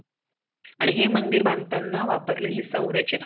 आणि हे मंदिर बधताना वापरल्याले